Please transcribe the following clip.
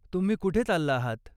तुम्ही कुठे चालला आहात?